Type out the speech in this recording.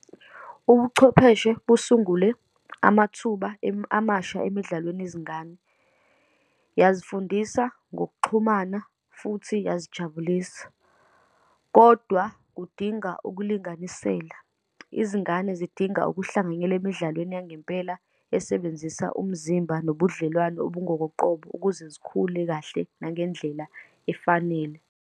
Ubuchwepheshe busungule amathuba amasha emidlalweni yezingane. Uyazifundisa ngokuxhumana, futhi uyazijabulisa, kodwa kudinga ukulunganisela. Izingane zidinga ukuhlanganyela emidlalweni yangempela esebenzisa umzimba nobudlelwane obungoboqobo, ukuze zikhule kahle nangendlela efanele.